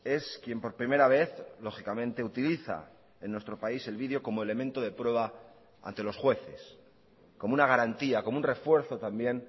es quien por primera vez lógicamente utiliza en nuestro país el video como elemento de prueba ante los jueces como una garantía como un refuerzo también